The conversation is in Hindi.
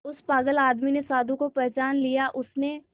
उस पागल आदमी ने साधु को पहचान लिया उसने